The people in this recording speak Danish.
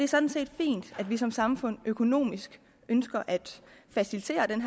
sådan set fint at vi som samfund økonomisk ønsker at facilitere den